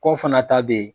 Kɔ fana ta be yen